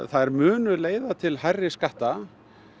þær munu leiða til hærri skatta